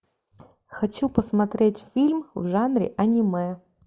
хочу посмотреть фильм в жанре аниме